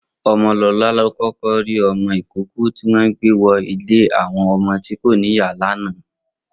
Omolola ló kọkọ ri ọmọ ikóòkò tiwọn gbé wọ inù ilé awọn ọmọ ti ó ni ìyá yèn làná